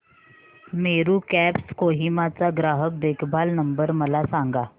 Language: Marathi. मेरू कॅब्स कोहिमा चा ग्राहक देखभाल नंबर मला सांगा